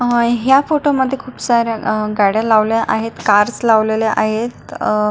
अह ह्या फोटो मध्ये खुप साऱ्या गाड्या लावल्या आहेत कार्स लावलेल्या आहेत अह--